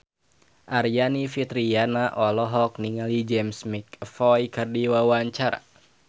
Aryani Fitriana olohok ningali James McAvoy keur diwawancara